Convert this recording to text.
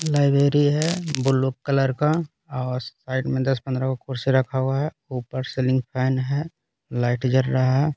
Library है blue colour का और साइड में दस पंडरा को कुर्सी रखा हुआ है ऊपर सेलिंग फेंन है लाइट जल रहा है।